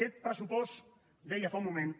aquest pressupost deia fa un moment